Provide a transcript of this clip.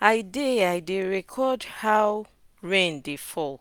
i dey i dey record how rain dey fall